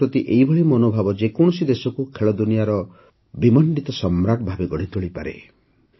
ଖେଳ ପ୍ରତି ଏହିଭଳି ମନୋଭାବ ଯେକୌଣସି ଦେଶକୁ ଖେଳଦୁନିଆର ସମ୍ରାଟ ସର୍ବଶ୍ରେଷ୍ଠ ଦେଶ ଭାବେ ଗଢ଼ିତୋଳିପାରେ